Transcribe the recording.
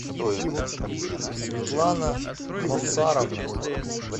светлана мовсаровна